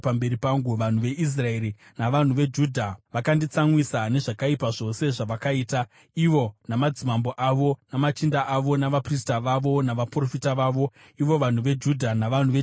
Vanhu veIsraeri navanhu veJudha vakanditsamwisa nezvakaipa zvose zvavakaita, ivo namadzimambo avo, namachinda avo, navaprista vavo, navaprofita vavo, ivo vanhu veJudha navanhu veJerusarema.